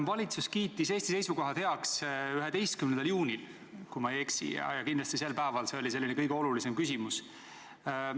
Valitsus kiitis Eesti seisukohad heaks 11. juunil, kui ma ei eksi, ja kindlasti oli see sel päeval kõige olulisem küsimus.